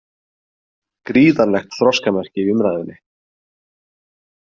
Gríðarlegt þroskamerki í umræðunni